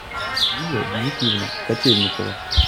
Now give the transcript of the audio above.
юлия дмитриевна котельникова